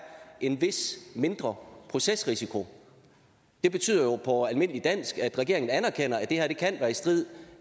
en mindre procesrisiko det betyder jo på almindelig dansk at regeringen anerkender at det her kan være i strid